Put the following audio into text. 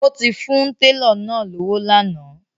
O ti fún tẹlọ náà lọ́wọ́ lànà